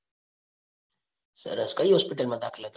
સરસ કઈ હોસ્પિટલ માં દાખલ હતા?